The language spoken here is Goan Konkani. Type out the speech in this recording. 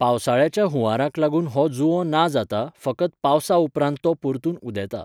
पावसाळ्याच्या हुंवाराक लागून हो जुंवो ना जाता फकत पावसा उपरांत तो परतून उदेता.